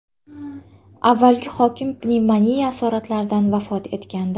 Avvalgi hokim pnevmoniya asoratlaridan vafot etgandi.